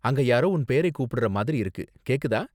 அங்க யாரோ உன் பேரை கூப்பிடுறா மாதிரி இருக்கு, கேக்குதா?